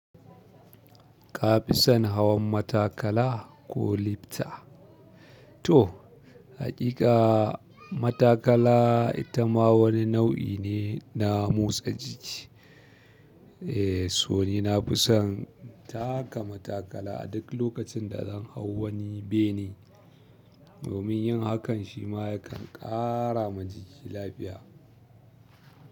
Kafisan hawan matakala ko lifta. To, haƙiƙa matakala ita ma wani nau'i ne na motsa jiki. Eh, so ni nafi son taka matakala a duk lokacin da zan hau wani bene. Domin yin hakan shima yakan ƙara ma jiki lafiya.